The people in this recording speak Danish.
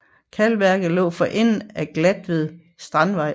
Kalkværket lå for enden af Glatved Strandvej